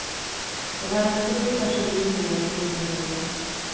Det var en stor tragedi för mig och min familj.